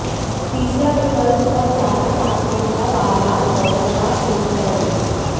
तीसरा विकल्प और ज्यादा प्राथमिकता वाला दोनों का एकीकरण है